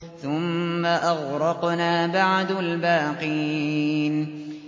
ثُمَّ أَغْرَقْنَا بَعْدُ الْبَاقِينَ